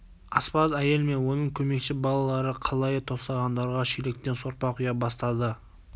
аспаз әйел мен оның көмекші балалары қалайы тостағандарға шелектен сорпа құя бастады